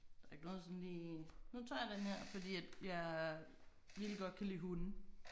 Der ikke noget sådan lige nu tager jeg den her fordi at jeg vildt godt kan lide hunde